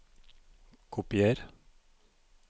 Kopier